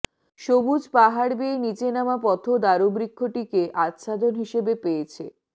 সবুজ পাহাড় বেয়ে নিচে নামা পথ দারুবৃক্ষটিকে আচ্ছাদন হিসেবে পেয়েছে